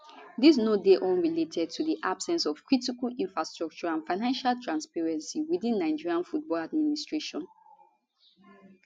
dis no dey unrelated to di absence of critical infrastructure and financial transparency within nigeria football administration